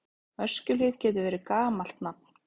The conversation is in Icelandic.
Öskjuhlíð getur verið gamalt nafn.